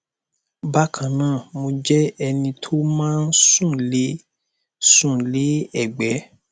bákan náà mo jẹ ẹni tó máa ń sùn lé ń sùn lé ẹgbé